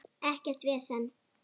Ekkert vesen.